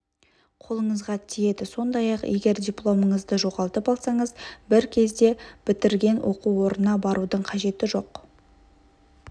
қолыңызға тиеді сондай-ақ егер дипломыңызды жоғалтып алсаңыз бір кезде бітірген оқу орнына барудың қажеті жоқ